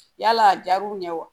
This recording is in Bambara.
Yala a jar'u ɲɛ wa